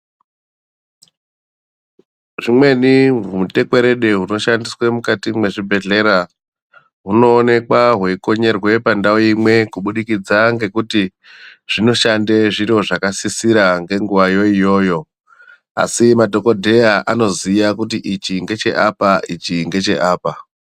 Zvimweni zvimutekweredu zvinoshandiswa muzvibhedhlera hunoinekwa hweikonyerwa pandau imwe kubudikidza ngekuti zvinoshande kuitira zviro zvakasisira nguwa iyoyo asi madhokodheya Anoziva kuti ichi ndecheapa ichi ndecheapa.